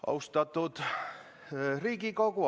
Austatud Riigikogu!